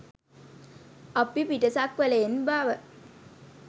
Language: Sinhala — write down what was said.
අපි පිටසක්වලයන් බව